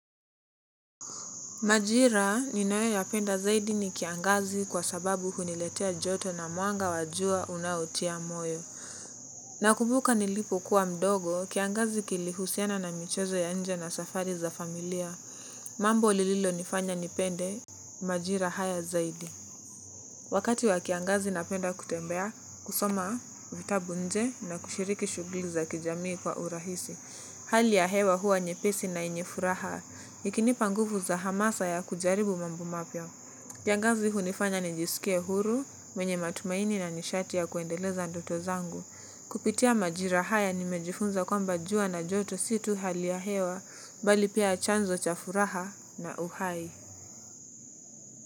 Majira ninayo yapenda zaidi ni kiangazi kwa sababu huniletea joto na muanga wa jua unautia moyo. Nakumbuka nilipokuwa mdogo, kiangazi kilihusiana na michezo ya nje na safari za familia. Mambo lililo nifanya nipende, majira haya zaidi. Wakati wa kiangazi napenda kutembea, kusoma vitabu nje na kushiriki shuguli za kijamii kwa urahisi. Hali ya hewa huwa nyepesi na yenye furaha, ikinipa nguvu za hamasa ya kujaribu mambo mapya. Kiangazi hunifanya nijisikie huru, mwenye matumaini na nishati ya kuendeleza ndoto zangu. Kupitia majira haya nimejifunza kwamba jua na joto si tu hali ya hewa, bali pia chanzo cha furaha na uhai.